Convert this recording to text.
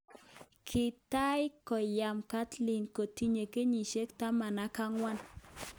Kitai komyan Caitlin kotinye kenyisyel taman ak ang'wan